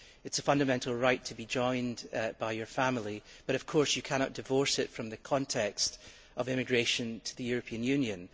It is a fundamental right to be joined by your family, but of course you cannot divorce it from the context of immigration to the European Union.